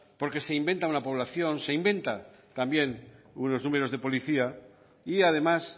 porque se inventa una población se inventa también unos números de policía y además